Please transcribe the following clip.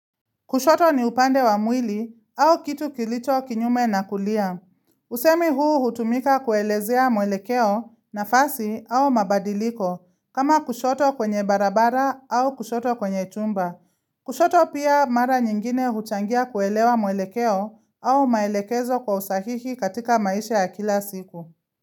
Kushoto ni upande wa mwili au kitu kilicho kinyume na kulia. Husemi huu hutumika kuelezea mwelekeo nafasi au mabadiliko kama kushoto kwenye barabara au kushoto kwenye chumba. Kushoto pia mara nyingine huchangia kuelewa mwelekeo au maelekezo kwa usahihi katika maisha ya kila siku.